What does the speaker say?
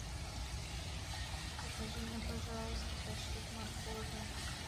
закажи мне пожалуйста пять штук моркови